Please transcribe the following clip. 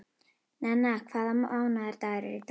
Nenna, hvaða mánaðardagur er í dag?